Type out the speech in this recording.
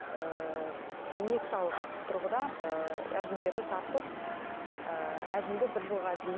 ііі инекциялық тұрғыда ііі әжімдерді тартып ыыы әжімді бір жылға дейін